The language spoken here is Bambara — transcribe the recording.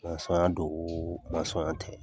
don wo tɛ.